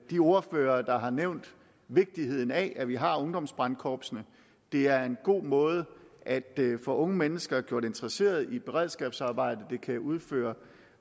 de ordførere der har nævnt vigtigheden af at vi har ungdomsbrandkorpsene det er en god måde at få unge mennesker gjort interesseret i beredskabsarbejdet de kan udføre